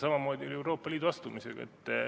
Samamoodi oli Euroopa Liitu astumisega.